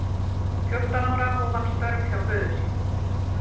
Fjórtán ára hóf hann störf hjá föður sínum.